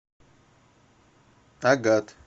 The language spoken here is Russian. агат